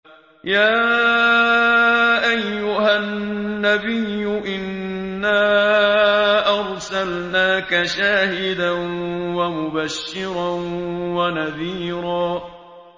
يَا أَيُّهَا النَّبِيُّ إِنَّا أَرْسَلْنَاكَ شَاهِدًا وَمُبَشِّرًا وَنَذِيرًا